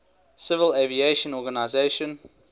civil aviation organization